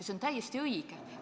See on täiesti õige.